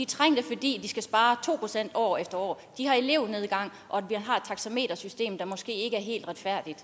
trængte fordi de skal spare to procent år efter år de har elevnedgang og de har et taxametersystem der måske ikke er helt retfærdigt